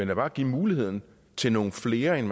vil bare give muligheden til nogle flere end